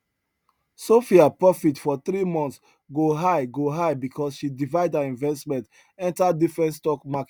sophia profit for three months go high go high because she divide her investment enter different stock markets